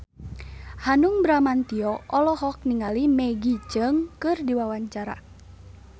Hanung Bramantyo olohok ningali Maggie Cheung keur diwawancara